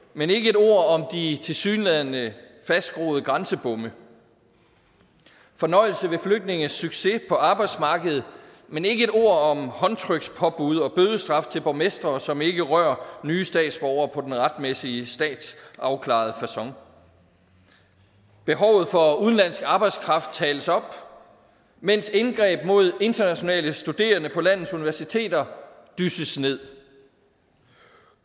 men ikke et ord om de tilsyneladende fastgroede grænsebomme fornøjelse ved flygtninges succes på arbejdsmarkedet men ikke et ord om håndtrykspåbud og bødestraf til borgmestre som ikke rører nye statsborgere på den retmæssige statsafklarede facon behovet for at udenlandsk arbejdskraft tales op mens indgreb mod internationale studerende på landets universiteter dysses ned